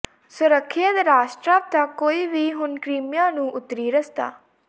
ਸੁਰੱਖਿਅਤ ਰਾਸ੍ਟਾਵ ਤੱਕ ਕੋਈ ਵੀ ਹੁਣ ਕ੍ਰੀਮੀਆ ਨੂੰ ਉੱਤਰੀ ਰਸਤਾ